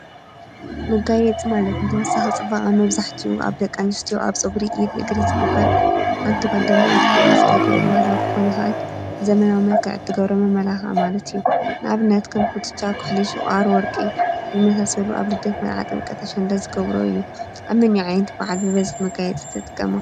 መጋይፂ ማለት ንተወሳኺ ጽባኸ ኣብ መብዛሕቲኡ ኣብ ደቂ ኣንስትዮ ኣብ ፀጕሪ ፣ኢድ፣ እግሪ ዝግበት ሓንቲ ዋልደሚ ኣትዝገብሮ ብብሃላዊ ክኾን ይኽአል ዘመናዊ መልኪዓ ኣድገብሮ መመላኽዒ ማለት እዩ፡፡ ንኣብነት ከም ኲትሻ፣ ዀሕሊ፣ ሽቐር ወርቂ ዝመሳሰሉ ኣብ ልደት ፣መርዓ ፣ጥምቀት፣ ኣሸንዳት ዝገብሮ እዩ፡፡ ኣብ መን ዓይነት በዓል ብበዝሒ መጋየፂ ትጥቀማ?